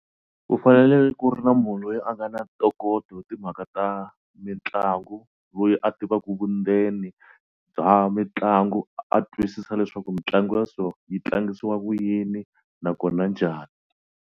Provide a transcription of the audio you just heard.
U fanele ku ri na munhu loyi a nga na ntokoto hi timhaka ta mitlangu loyi a tivaku vundzeni bya mitlangu a twisisa leswaku mitlangu ya so yi tlangisiwa ku yini nakona njhani.